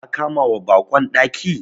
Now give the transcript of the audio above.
Ka kamawa baƙon daki.